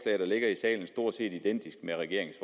ligger i salen stort set identisk med regeringens